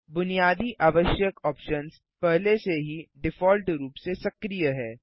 बुनियादी आवश्यक ऑप्शन्स पहले से ही डिफ़ॉल्ट रूप से सक्रिय हैं